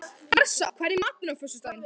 Marsa, hvað er í matinn á föstudaginn?